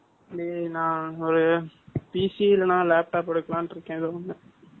டேய், நான் ஒரு, PC இல்லைன்னா, laptop எடுக்கலான்னு இருக்கேன், ஏதோ ஒண்ணு